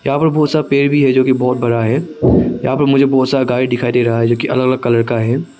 यहां पर बहोत सारा पेड़ भी है जोकि बहोत बड़ा है यहां पर मुझे बहोत बहुत सारा गाड़ी दिखाई दे रहा है जोकि अलग अलग कलर का है।